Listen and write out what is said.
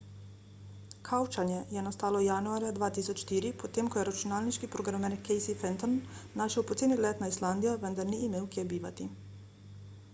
kavčanje je nastalo januarja 2004 potem ko je računalniški programer casey fenton našel poceni let na islandijo vendar ni imel kje bivati